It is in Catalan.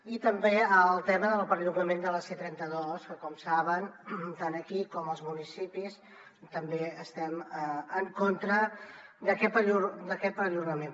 i també el tema del perllongament de la c trenta dos que com saben tant aquí com als municipis també estem en contra d’aquest perllongament